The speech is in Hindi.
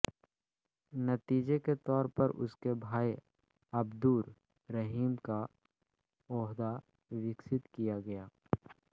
नतीजे के तौर पर उसके भाई अब्दुर रहीम का ओहदा विकसित किया गया